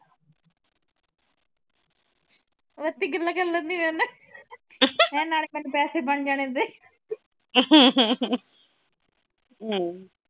ਉੱਥੇ ਗੱਲਾਂ ਕਰ ਲੈਂਦੀ ਮੇਰੇ ਨਾ ਮੈ ਕਿਹਾ ਨਾਲੇ ਮੇਰੇ ਪੈਸੇ ਬਣ ਜਾਣੇ ਓਦਾਂ ਈ